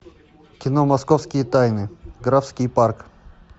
кино московские тайны графский парк